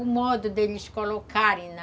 O modo deles colocarem na...